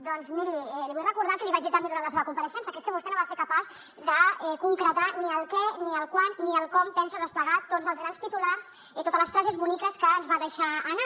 doncs miri li vull recordar el que li vaig dir també durant la seva compareixença que és que vostè no va ser capaç de concretar ni el què ni el quan ni el com pensa desplegar tots els grans titulars i totes les frases boniques que ens va deixar anar